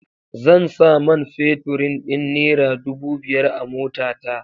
Zan sa man feturin din nera dubu biyar a motata.